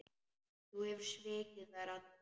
Þú hefur svikið þær allar.